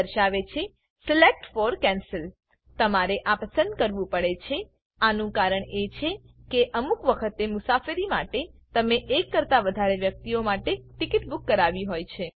આ દર્શાવે છે સિલેક્ટ ફોર કેન્સલ તમારે આ પસંદ કરવું પડે છે આનું કારણ એ છે કે અમુક વખતે મુસાફરી માટે તમે ૧ કરતા વધારે વ્યક્તિઓ માટે ટીકીટ બૂક કરાવી હોય છે